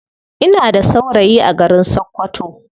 Ina da saurayi a garin sakkwato.